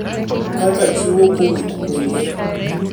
kaka chiwo kowuok kuomgi,